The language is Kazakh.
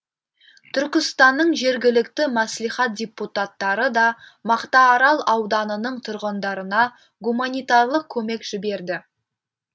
түркістанның жергілікті мәслихат депутаттары да мақтаарал ауданының тұрғындарына гуманитарлық көмек жіберді